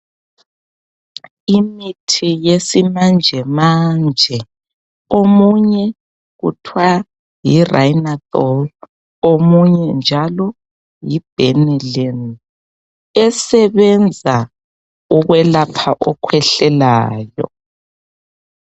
Imithi yesimanje manje omunye kuthwa yi"Rhinathiol" omunye njalo yi"Benylin" esebenza ukwelapha okhwehlelayo.